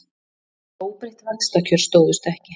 Óbreytt vaxtakjör stóðust ekki